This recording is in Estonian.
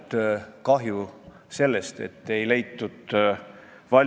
Me ei arva, et kui autojuhil on väike sissetulek, siis see annab talle justkui suurema moraalse õiguse seadust rikkuda.